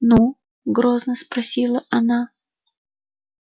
ну грозно спросила она